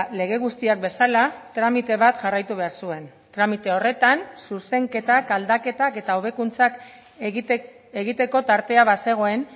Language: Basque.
lege guztiak bezala tramite bat jarraitu behar zuen tramite horretan zuzenketak aldaketak eta hobekuntzak egiteko tartea bazegoen